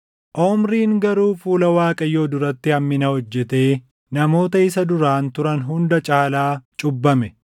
Omriin garuu fuula Waaqayyoo duratti hammina hojjetee namoota isa duraan turan hunda caalaa cubbame.